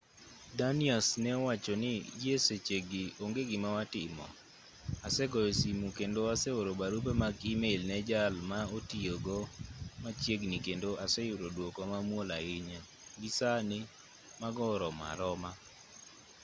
danius ne owacho ni gi e sechegi onge gima watimo asegoyo simu kendo aseoro barupe mag e-mail ne jal ma otiyo go machiegni kendo aseyudo duoko mamuol ahinya gi sani mago oromo aroma